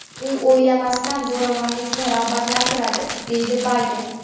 U o‘ylamasdan zo‘ravonlikni rag‘batlantiradi”, – dedi Bayden.